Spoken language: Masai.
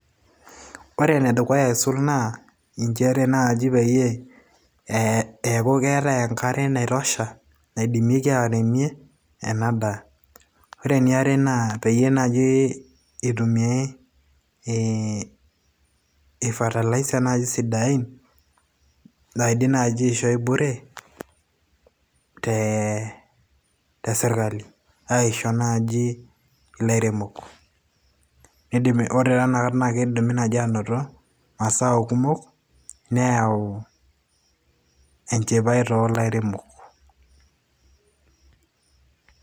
Ore enedukuya aisul naa, injere naji peyie eeku keetae enkare naitosha naidimieki airemie, ena daa. Ore eniare naa, peyie naji eitumiai nai fertiliser sidain. Naidim nai aishoi bure te sirkali. Aisho naji ilaremok. Nedumi Ore naa inakata kidimi anoto masao kumok neau enchipai tolairemok.